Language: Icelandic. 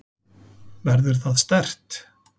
Verður það sterkt?